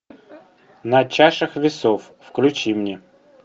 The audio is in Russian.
на чашах весов включи мне